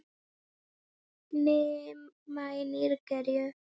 Rima í Nígeríu